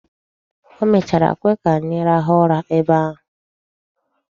O mechara kwe ka anyị rahụ ụra ebe ahụ.